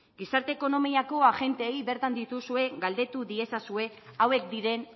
gizarte ekonomiako agenteei bertan dituzue galdetu diezazuen hauek diren